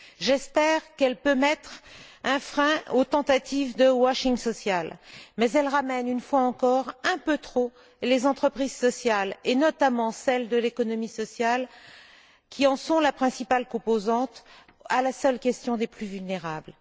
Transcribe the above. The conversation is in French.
J'espère qu'elle pourra mettre un frein aux tentatives de washing social ou blanchiment social. Mais elle réduit une fois encore un peu trop les entreprises sociales, et notamment celles de l'économie sociale, qui en sont la principale composante, à la seule question des plus vulnérables.